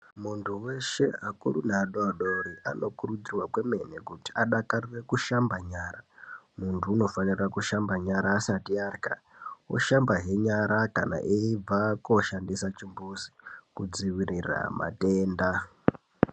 Muntu weshe akuru neadodori anokurudzirwe kwemene kuti adakarure kushamba nyara muntu anofanire kushamba nyara asati arya oshamba hee nyara eibva kunoshandisa chimbuzi kudzivirira matenda .